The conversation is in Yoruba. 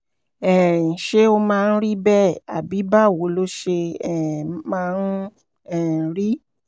um ṣé ó máa ń rí bẹ́ẹ̀ àbí báwo ló ṣe um máa ń um rí?